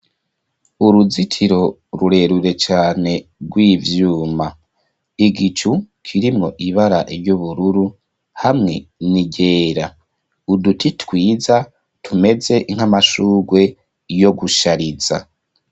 Uruzitiro rurerure cane rw'ivyuma, igicu kirimwo ibara ry'ubururu hamwe n'iryera ,uduti twiza tumeze nk'amashurwe yo gushariza.